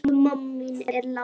Elsku mamma mín er látin.